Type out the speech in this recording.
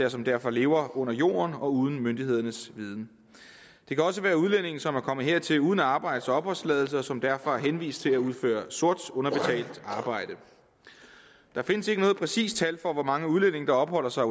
og som derfor lever under jorden og uden myndighedernes viden det kan også være udlændinge som er kommet hertil uden arbejds og opholdstilladelse og som derfor er henvist til at udføre sort underbetalt arbejde der findes ikke noget præcist tal for hvor mange udlændinge der opholder sig